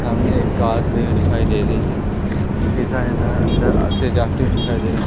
सामने एक कार खड़ी हुई दिखाई दे रही है एक ऐसा इंसान अंदर आते जाते दिखाई दे रहा--